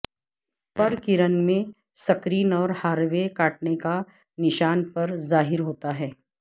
پرکرن میں سکرین اور ہاروے کاٹنے کا نشان پر ظاہر ہوتا ہے